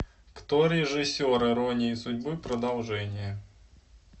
кто режиссер иронии судьбы продолжение